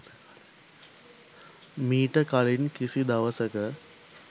මීට කලින් කිසි දවසක